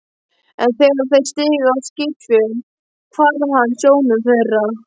En þegar þeir stigu á skipsfjöl hvarf hann sjónum þeirra.